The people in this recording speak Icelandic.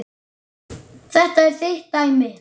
Þetta er þitt dæmi.